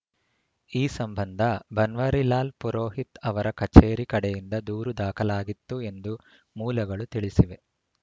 ಈ ಸಂಬಂಧ ಬನ್ವರಿಲಾಲ್‌ ಪುರೋಹಿತ್‌ ಅವರ ಕಚೇರಿ ಕಡೆಯಿಂದ ದೂರು ದಾಖಲಾಗಿತ್ತು ಎಂದು ಮೂಲಗಳು ತಿಳಿಸಿವೆ